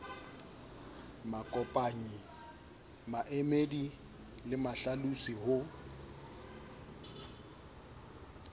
makopanyi maemedi le mahlalosi ho